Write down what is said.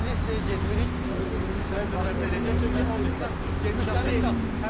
İkinci hissəyə getmirik, çünki birinci hissəni məncə bəs eləyəcək, çünki onsuz da büdcəmiz çatmır.